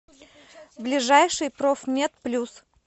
ближайший профмед плюс